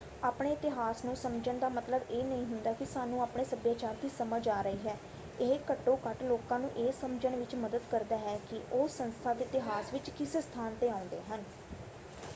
ਆਪਣੇ ਇਤਿਹਾਸ ਨੂੰ ਸਮਝਣ ਦਾ ਮਤਲਬ ਇਹ ਨਹੀਂ ਹੁੰਦਾ ਕਿ ਸਾਨੂੰ ਆਪਣੇ ਸਭਿਆਚਾਰ ਦੀ ਸਮਝ ਆ ਰਹੀ ਹੈ ਇਹ ਘੱਟੋ ਘੱਟ ਲੋਕਾਂ ਨੂੰ ਇਹ ਸਮਝਣ ਵਿੱਚ ਮਦਦ ਕਰਦਾ ਹੈ ਕਿ ਉਹ ਸੰਸਥਾ ਦੇ ਇਤਿਹਾਸ ਵਿੱਚ ਕਿਸ ਸਥਾਨ 'ਤੇ ਆਉਂਦੇ ਹਨ।